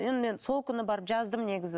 енді мен сол күні барып жаздым негізі